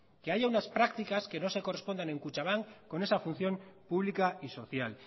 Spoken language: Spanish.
que haya unas prácticas que no se correspondan en kutxabank con esa función pública y social